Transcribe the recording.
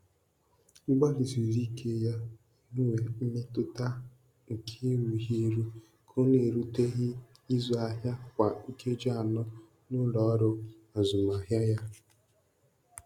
Mgbalịsiri ike ya inwe mmetụta nke erughị eru ka ọ na-eruteghị ịzụ ahịa kwa nkeji anọ n'ụlọ ọrụ azụmahịa ya.